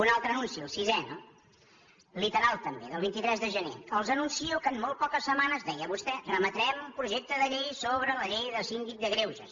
un altre anunci el sisè no literal també del vint tres de gener els anuncio que en molt poques setmanes deia vostè remetrem un projecte de llei sobre la llei del síndic de greuges